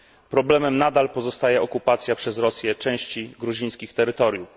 Problemem nadal pozostaje okupacja przez Rosję części gruzińskich terytoriów.